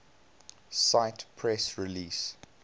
cite press release